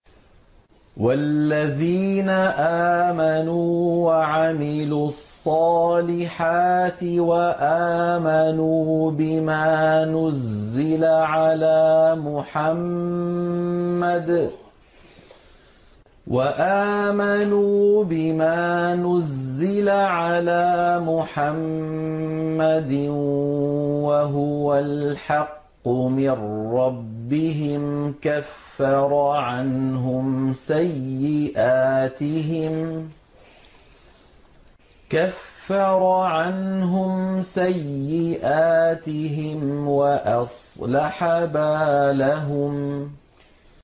وَالَّذِينَ آمَنُوا وَعَمِلُوا الصَّالِحَاتِ وَآمَنُوا بِمَا نُزِّلَ عَلَىٰ مُحَمَّدٍ وَهُوَ الْحَقُّ مِن رَّبِّهِمْ ۙ كَفَّرَ عَنْهُمْ سَيِّئَاتِهِمْ وَأَصْلَحَ بَالَهُمْ